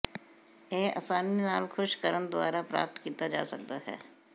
ਇਹ ਆਸਾਨੀ ਨਾਲ ਖੁਸ਼ ਕਰਨ ਦੁਆਰਾ ਪ੍ਰਾਪਤ ਕੀਤਾ ਜਾ ਸਕਦਾ ਹੈ